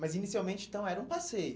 Mas inicialmente, então, era um passeio.